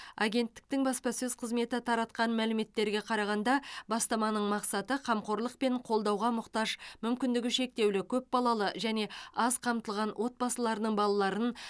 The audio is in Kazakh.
агенттіктің баспасөз қызметі таратқан мәліметтерге қарағанда бастаманың мақсаты қамқорлық пен қолдауға мұқтаж мүмкіндігі шектеулі көпбалалы және аз қамтылған отбасылардың балаларын